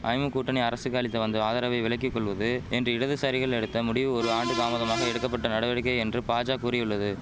ஐமு கூட்டணி அரசுக்கு அளித்து வந்த ஆதரவை விலக்கி கொள்வது என்று இடதுசாரிகள் எடுத்த முடிவு ஒரு ஆண்டு தாமதமாக எடுக்க பட்ட நடவடிக்கை என்று பாஜா கூறியுள்ளது